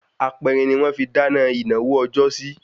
Aperin ni wọ́n fi dáná ìnáwó ọjọ́sí